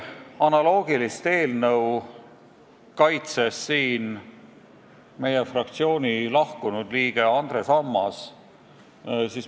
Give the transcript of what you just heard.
Analoogilise sisuga eelnõu kaitses siin mõni aeg tagasi ka meie fraktsiooni lahkunud liige Andres Ammas.